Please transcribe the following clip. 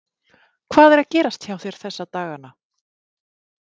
Hvað er að gerast hjá þér þessa dagana?